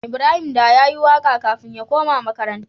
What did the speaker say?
Ibrahim da yayi waƙa kafin ya koma makaranta